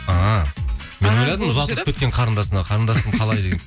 а мен ойладым ұзатылып кеткен қарындасына қарындасым қалай